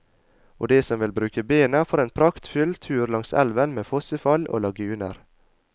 Og de som vil bruke bena, får en praktfull tur langs elven med fossefall og laguner.